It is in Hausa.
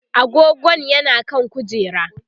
agogon yana kan kujera